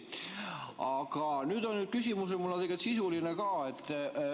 Aga nüüd on mul tegelikult sisuline küsimus ka.